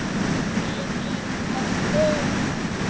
Þeir eru með störu.